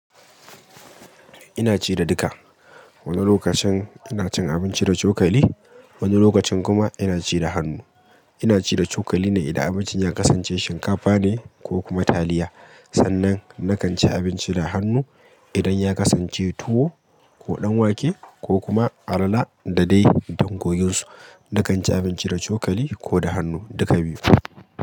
Ina ci da duka. Wani lokacin ina cin abinci da cokali, wani lokacin kuma ina ci da hannu. Ina ci da cokali ne idan abincin ya kasance shinkafa ne ko kuma taliya. Sannan na kan ci abinci da hannu idan ya kasance tuwo ko ɗanwake ko kuma alala da dai dangoginso. Na kan ci abinci da cokali ko da hannu, duka biyu.